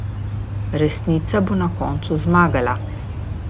Resnica bo na koncu zmagala.